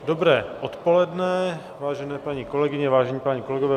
Dobré odpoledne, vážené paní kolegyně, vážení páni kolegové.